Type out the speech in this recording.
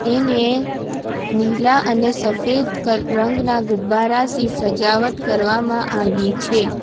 એને નીલા અને સફેદ કલ રંગના ગુબ્બારા થી સજાવટ કરવામાં આવી છે.